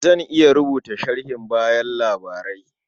Zan iya rubuta sharhin bayan labarai.